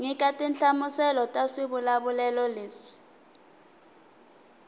nyika tinhlamuselo ta swivulavulelo leswi